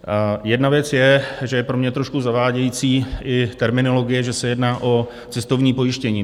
Jedna věc je, že je pro mě trošku zavádějící i terminologie, že se jedná o cestovní pojištění.